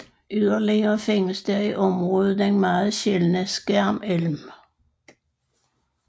Yderligere findes der i området den meget sjældne skærmelm